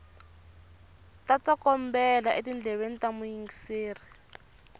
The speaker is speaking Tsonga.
ta tsokombela etindleveni ta muyingiseri